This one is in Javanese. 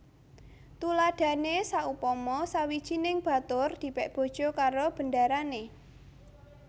Tuladhané saupama sawijining batur dipèk bojo karo bendarané